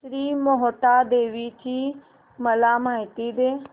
श्री मोहटादेवी ची मला माहिती दे